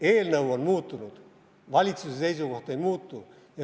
Eelnõu on muutunud, valitsuse seisukoht ei muutu.